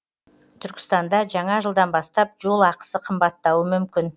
түркістанда жаңа жылдан бастап жол ақысы қымбаттауы мүмкін